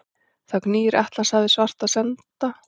Þar gnýr Atlantshafið svarta sanda.